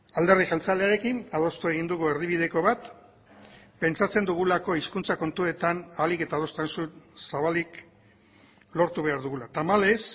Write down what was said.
alderdi jeltzalearekin adostu egin dugu erdibideko bat pentsatzen dugulako hizkuntza kontuetan ahalik eta adostasun zabalik lortu behar dugula tamalez